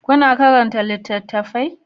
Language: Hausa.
kuna karanta littattafai?